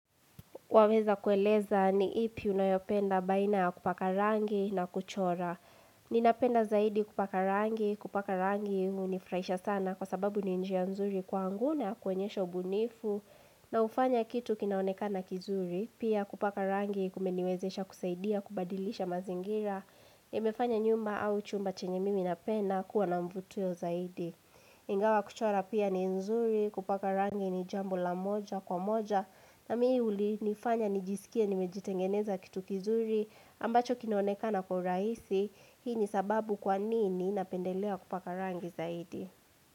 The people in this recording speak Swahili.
Waweza kueleza ni ipi unayopenda baina ya kupaka rangi na kuchora. Ninapenda zaidi kupaka rangi, kupaka rangi hunifurahisha sana kwa sababu ni njia nzuri kwaangu na ya kuonyesha ubunifu. Na hufanya kitu kinaonekana kizuri, pia kupaka rangi kumeniwezesha kusaidia kubadilisha mazingira. Imefanya nyumba au chumba chenye mimi napenda kuwa na mvutio zaidi. Ingawa kuchora pia ni nzuri, kupaka rangi ni jambo la moja kwa moja na mimi ulinifanya nijisikie nimejitengeneza kitu kizuri ambacho kinonekana kwa urahisi. Hii ni sababu kwa nini napendelea kupaka rangi zaidi.